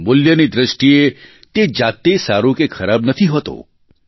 મૂલ્યની દ્રષ્ટિએ તે જાતે સારું કે ખરાબ નથી હોતું